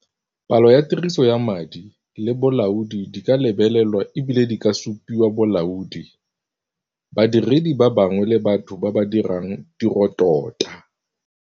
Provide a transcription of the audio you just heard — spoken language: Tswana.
Palo ya tiriso ya madi le bolaodi di ka lebelelwa e bile di ka supiwa bolaodi, badiredi ba bangwe le batho ba ba dirang tirotota.